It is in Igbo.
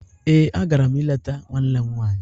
Ee, a gara m ileta nwanne m nwanyị.